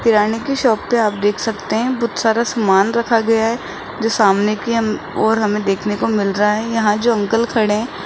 किराने की शॉप पर आप देख सकते हैं बहुत सारा सामान रखा गया है सामने कि ओर हमें देखने को मिल रहा है यहां जो अंकल खड़े हैं।